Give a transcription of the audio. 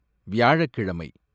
வியாழக்கிழமை